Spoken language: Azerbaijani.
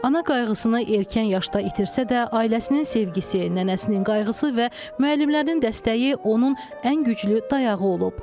Ana qayğısını erkən yaşda itirsə də, ailəsinin sevgisi, nənəsinin qayğısı və müəllimlərinin dəstəyi onun ən güclü dayağı olub.